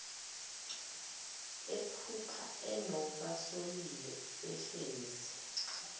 ephupha enobasolile behlezi